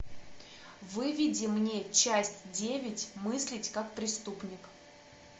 выведи мне часть девять мыслить как преступник